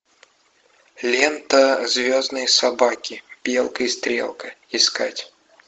лента звездные собаки белка и стрелка искать